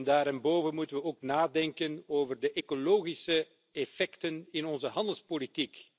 Daarenboven moeten we ook nadenken over de ecologische effecten in ons handelsbeleid.